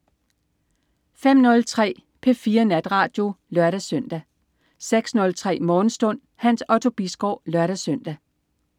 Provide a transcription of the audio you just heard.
05.03 P4 Natradio (lør-søn) 06.03 Morgenstund. Hans Otto Bisgaard (lør-søn)